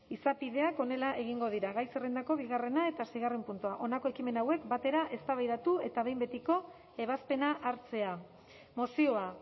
izapideak honela egingo dira gai zerrendako bigarrena eta seigarren puntua honako ekimen hauek batera eztabaidatu eta behin betiko ebazpena hartzea mozioa